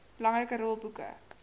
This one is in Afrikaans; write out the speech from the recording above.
belangrike rol boeke